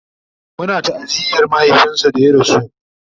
Muna ta'aziyar mahaifinsu da ya rasu